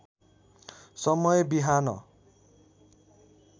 समय बिहान